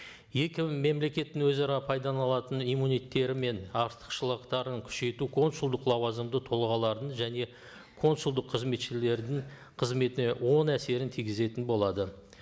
екі мемлекеттің өзара пайдаланатын мен артықшылықтарын күшейту консулдық лауазымды тұлғалардың және консулдық қызметшілердің қызметіне оң әсерін тигізетін болады